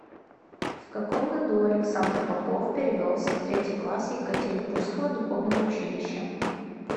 в каком году александр попов перевелся в третий класс екатеринбургского духовного училища